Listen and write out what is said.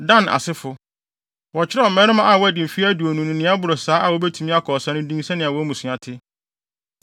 Dan asefo: Wɔkyerɛw mmarima a wɔadi mfe aduonu ne nea ɛboro saa a wobetumi akɔ ɔsa no din sɛnea wɔn mmusua te.